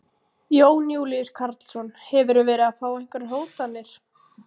Jón Júlíus Karlsson: Hefurðu verið að fá einhverjar hótanir?